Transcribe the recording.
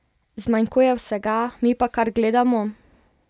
Zmanjkuje vsega, mi pa kar gledamo?